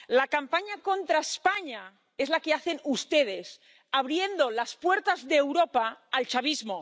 La campaña contra España es la que hacen ustedes, abriendo las puertas de Europa al chavismo.